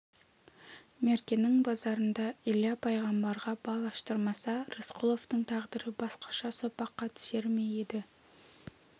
меркенің базарында илья пайғамбарға бал аштырмаса рысқұловтың тағдыры басқаша соқпаққа түсер ме еді